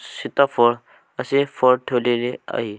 शिताफळ असे फळ ठेवलेले आहे.